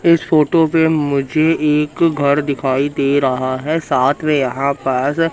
इस फोटो पे मुझे एक घर दिखाई दे रहा है साथ में यहां पास--